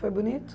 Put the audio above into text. Foi bonito?